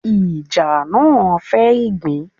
Ìjàṕ náà fẹ́ ìgbín.